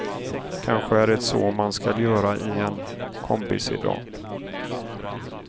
Kanske är det så man skall göra i en kombisedan.